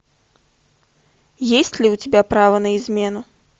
есть ли у тебя право на измену